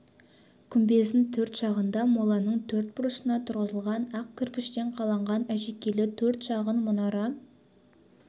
күмбездің төрт жағында моланың төрт бұрышына тұрғызылған ақ кірпіштен қаланған әшекейлі төрт шағын мұнара